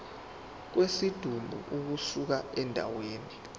kwesidumbu ukusuka endaweni